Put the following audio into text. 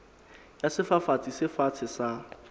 ya sefafatsi se fatshe sa